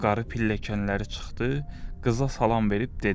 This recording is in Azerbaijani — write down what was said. Qarı pilləkənlərə çıxdı, qıza salam verib dedi.